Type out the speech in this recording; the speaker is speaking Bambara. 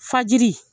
Fajiri